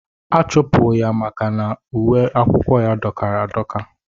Achụpụ ya maka na dọkara adọka.